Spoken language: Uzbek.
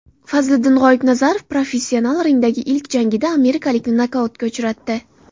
Fazliddin G‘oibnazarov professional ringdagi ilk jangida amerikalikni nokautga uchratdi.